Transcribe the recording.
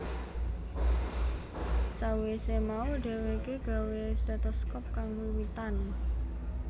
Sawise mau dheweke gawé stetoskop kang wiwitan